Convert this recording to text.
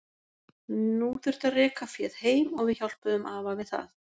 Nú þurfti að reka féð heim og við hjálpuðum afa við það.